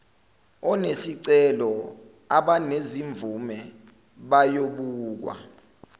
onesicelo abanezimvume bayobukwa